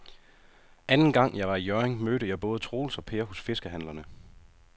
Anden gang jeg var i Hjørring, mødte jeg både Troels og Per hos fiskehandlerne.